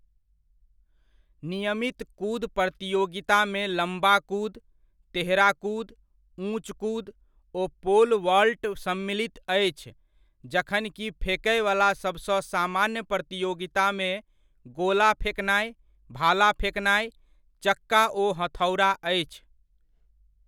नियमित कूद प्रतियोगितामे लम्बा कूद, तेहरा कूद, ऊँच कूद ओ पोल वॉल्ट सम्मिलित अछि जखन कि फेकयवला सबसँ सामान्य प्रतियोगितामे गोला फेकनाइ, भाला फेकनाइ, चक्का ओ हथौड़ा अछि।